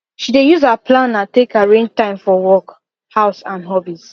she dey use her planner take arrange time for work house and hobbies